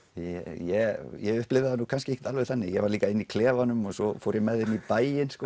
ég ég upplifði það kannski ekki alveg þannig ég var líka inni í klefanum og svo fór ég með þeim í bæinn